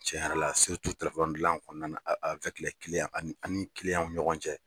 Cɛn yɛrɛ la dilan kɔnɔna na an ni an ni ɲɔgɔn cɛ.